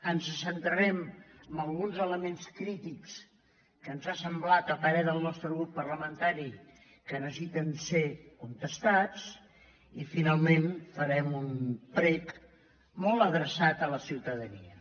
ens centrarem en alguns elements crítics que ens ha semblat a parer del nostre grup parlamentari que necessiten ser contestats i fi·nalment farem un prec molt adreçat a la ciutadania